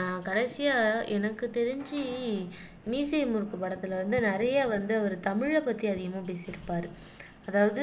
ஆஹ் கடைசியா எனக்கு தெரிஞ்சு மீசையை முறுக்கு படத்துல வந்து நிறைய வந்து அவரு தமிழை பத்தி அதிகமா பேசி இருப்பாரு அதாவது